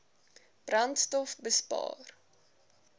brandstofbespaar